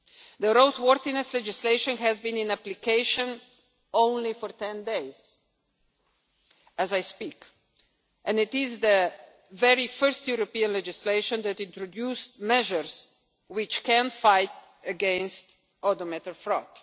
following. The roadworthiness legislation has been in application only for ten days as I speak, and it is the very first European legislation to introduce measures which can fight against odometer